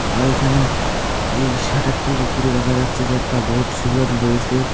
এখানে এই শাটারটির ওপরে দেখা যাচ্ছে যে একটা বোর্ড ঝুলানো রয়েসে।